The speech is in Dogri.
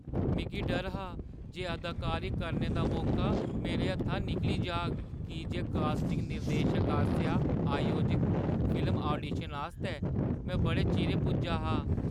मिगी डर हा जे अदाकारी करने दा मौका मेरे हत्था निकली जाग की जे कास्टिंग निर्देशक आसेआ आयोजत फिल्म आडीशन आस्तै में बड़े चिरें पुज्जा हा।